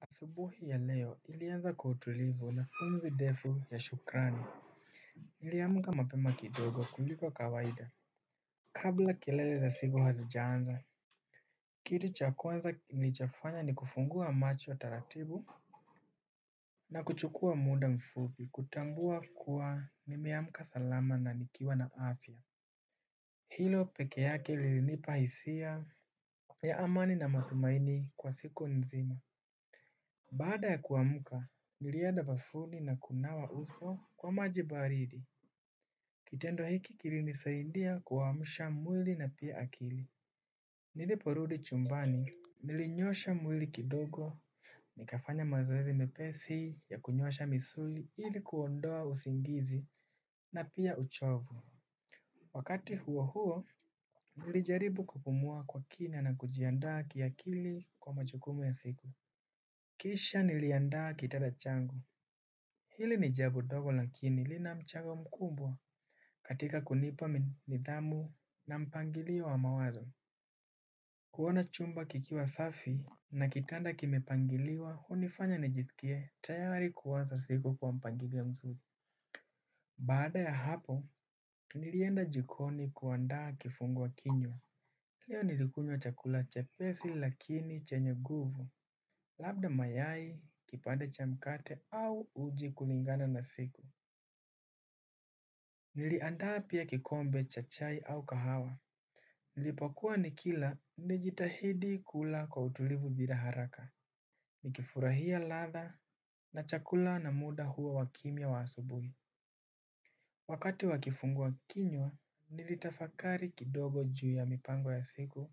Asubuhi ya leo ilianza kwa utulivu na umzi defu ya shukrani. Niliamka mapema kidogo kuliko kawaida. Kabla kilele za siku hazijaanza. Kitu chakwanza nilicho fanya ni kufungua macho taratibu. Na kuchukua muda mfupi kutambua kuwa nimeamka salama na nikiwa na afya. Hilo peke yake lilinipahisia ya amani na matumaini kwa siku nzima. Baada ya kuamka, nilieda bafuni na kunawa uso kwa majibaridi. Kitendo hiki kilinisaindia kuamsha mwili na pia akili. Niliporudi chumbani. Nilinyosha mwili kidogo, nikafanya mazoezi mepesi ya kunyosha misuli ilikuondoa usingizi na pia uchovu. Wakati huo huo, nilijaribu kupumua kwa kina na kujiandaa kiakili kwa majukumu ya siku. Kisha niliandaa kitada changu. Hili nijabo dogo lakini lina mchago mkubwa. Katika kunipa nidhamu na mpangilio wa mawazo kuona chumba kikiwa safi na kitanda kimepangiliwa hunifanya nijiskie tayari kuwaza siku kwa mpangilio mzuri. Baada ya hapo, nilienda jikoni kuandaa kifungwa kinywa. Leo nilikunywa chakula chepesi lakini chenye nguvu. Labda mayai kipande cha mkate au uji kulingana na siku. Niliandaa pia kikombe cha chai au kahawa. Nilipokua nikila nijitahidi kula kwa utulivu bila haraka. Nikifurahia latha na chakula na muda huo wakimya wa asubuhi. Wakati wakifungua kinywa nilitafakari kidogo juu ya mipango ya siku.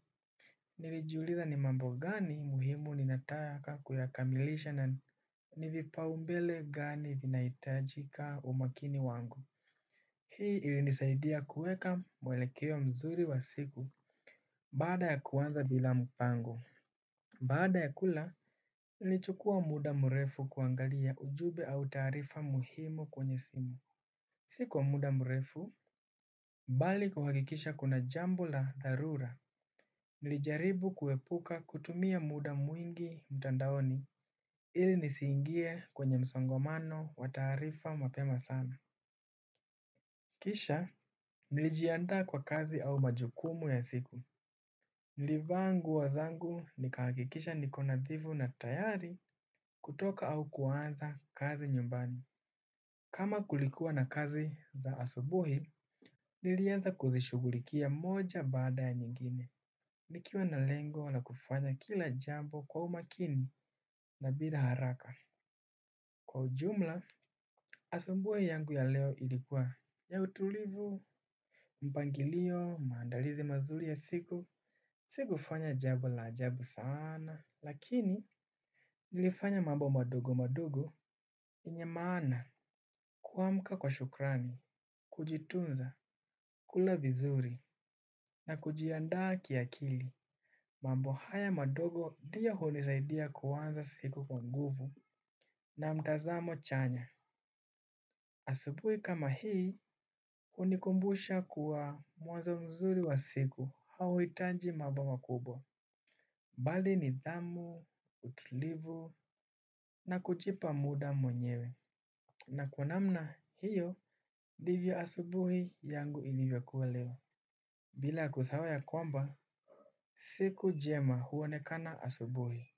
Nilijuliza ni mambo gani muhimu ninataka kuyakamilisha na nivipaumbele gani vinahitajika umakini wangu. Hii ili nisaidia kueka mwelekeo mzuri wa siku. Baada ya kuanza bila mpango baada ya kula nili chukua muda mrefu kuangalia ujube au tarifa muhimu kwenye simu. Sikwa muda mrefu. Mbali kuhakikisha kuna jambu la dharura. Nilijaribu kuepuka kutumia muda mwingi mtandaoni. Ili nisiingie kwenye msongomano wa tarifa mapema sana. Kisha nilijiandaa kwa kazi au majukumu ya siku nilivaa nguo zangu nikahakikisha niko nathivu na tayari kutoka au kuanza kazi nyumbani. Kama kulikuwa na kazi za asubuhi, nilianza kuzishugulikia moja baada ya nyingine. Nikiwa na lengo la kufanya kila jambo kwa umakini na bila haraka kwa ujumla asubuhi yangu ya leo ilikua ya utulivu. Mpangilio, maandalizi mazuri ya siku sikufanya jambo la ajabu sana lakini nilifanya mambo madogo madogo yenye maana kuamka kwa shukrani. Kujitunza, kula vizuri na kujiandaa kia kili. Mambo haya madogo ndiyo hunisaidia kuanza siku kwa nguvu. Na mtazamo chanya. Asabuhi kama hii hunikumbusha kuwa mwanzo mzuri wa siku. Hauhitaji mambo makubwa. Bali nidhamu, utulivu na kujipa muda mwenyewe. Na kwa namna hiyo ndivyo asubuhi yangu ilivyo kua leo. Bila kusahau ya kwamba, siku jema huonekana asubuhi.